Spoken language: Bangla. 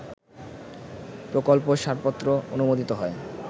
প্রকল্প সারপত্র অনুমোদিত হয়